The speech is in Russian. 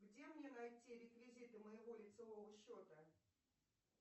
где мне найти реквизиты моего лицевого счета